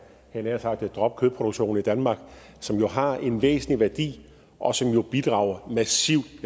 havde nær sagt droppe kødproduktionen i danmark som har en væsentlig værdi og som jo bidrager massivt